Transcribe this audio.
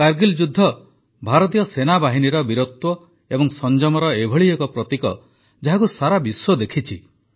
କାରଗିଲ୍ ଯୁଦ୍ଧ ଭାରତୀୟ ସେନାବାହିନୀର ବୀରତ୍ୱ ଏବଂ ସଂଯମର ଏଭଳି ଏକ ପ୍ରତୀକ ଯାହାକୁ ସାରା ବିଶ୍ୱ ଦେଖିଛି